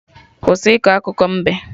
Kwụsị iko akụkọ mbe!